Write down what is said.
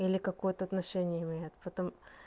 или какое-то отношение имеет потом